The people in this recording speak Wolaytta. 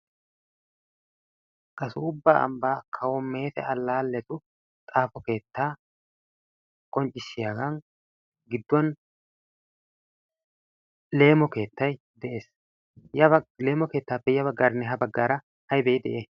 kasuubba anbbaa kawo meete allaalletu xaafo keettaa konccissiyaagan gidduwan leemo keettay de'ees. ya baleemo keettaappe ya baggaarinne ha baggaara aybee de'ii?